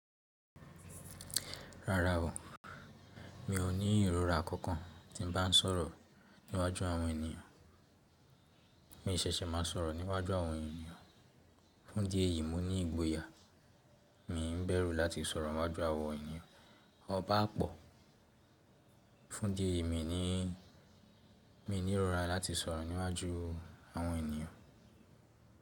Rárá o, mi ò ní ìrora kankan tí n bá ń sọ̀rọ̀ níwájú àwọn ènìyàn. Mí ṣẹ̀ṣẹ̀ máa sọ̀rọ̀ níwájú àwọn ènìyàn. Fún díẹ̀ yìí mo ní ìgboyà, mi ń bẹ̀rù láti sọ̀rọ̀ níwájú àwọn ènìyàn ọba pọ̀. Fún dí eyi mi ní, mi ní ìrora láti sọ̀rọ̀ níwájú àwọn ènìyàn.